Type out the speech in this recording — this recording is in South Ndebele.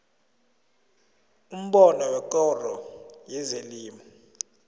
umbono wekoro yezelimo